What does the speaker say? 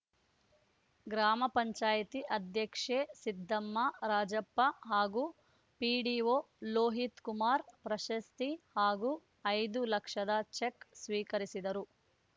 ಗ್ರಾಪಂ ಅಧ್ಯಕ್ಷೆ ಸಿದ್ದಮ್ಮ ರಾಜಪ್ಪ ಹಾಗೂ ಪಿಡಿಒ ಲೋಹಿತ್‌ಕುಮಾರ್‌ ಪ್ರಶಸ್ತಿ ಹಾಗೂ ಐದು ಲಕ್ಷದ ಚೆಕ್‌ ಸ್ವೀಕರಿಸಿದರು